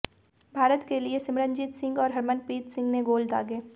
भारत के लिए सिमरनजीत सिंह और हरमनप्रीत सिंह ने गोल दागे